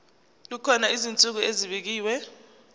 kukhona izinsuku ezibekiwe